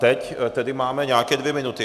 Teď máme tedy nějaké dvě minuty.